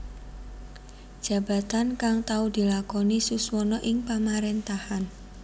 Jabatan kang tau dilakoni Suswono ing Pamaréntahan